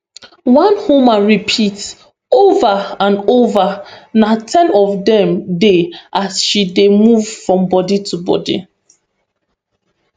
one woman repeat over and over na ten of dem dey as she dey move from body to body